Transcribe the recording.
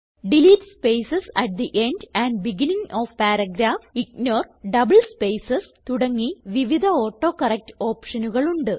delete spaces at the end and beginning of paragraph ignore double spaces തുടങ്ങി വിവിധ autocorrect ഓപ്ഷനുകൾ ഉണ്ട്